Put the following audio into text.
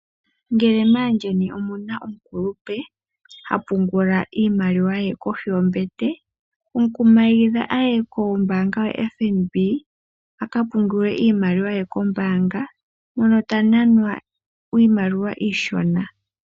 Ngele maayeni omuna omukulupe ha pungula iimaliwa ye kohi yombete . Mukumagidha aye ko mbaanga yo FNB aka pungule iimaliwa ye kombaanga mono ta nanwa iimaliwa iishona.